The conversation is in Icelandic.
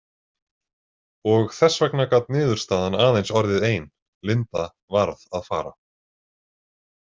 Og þess vegna gat niðurstaðan aðeins orðið ein: Linda varð að fara.